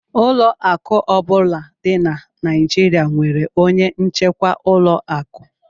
Ụlọ akụ ọ bụla dị na Nigeria nwere onye njikwa ụlọ akụ